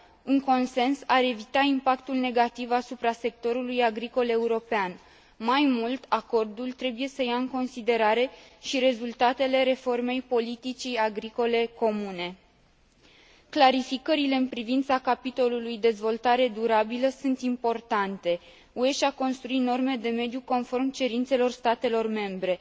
Un consens ar evita impactul negativ asupra sectorului agricol european. Mai mult, acordul trebuie să ia în considerare și rezultatele reformei politicii agricole comune. Clarificările în privința capitolului privind dezvoltarea durabilă sunt importante. UE și a construit norme de mediu conform cerințelor statelor membre.